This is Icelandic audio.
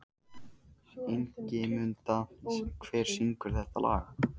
Ingimunda, hver syngur þetta lag?